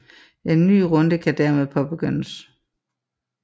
En ny runde kan derpå påbegyndes